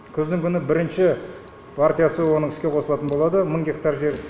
күздің күні бірінші партиясы оның іске қосылатын болады мың гектар жер